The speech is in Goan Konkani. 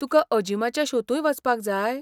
तुका अजीमाच्या शोंतूय वचपाक जाय?